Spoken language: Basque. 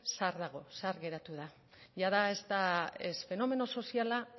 zahar dago zahar geratu da jada ez da ez fenomeno soziala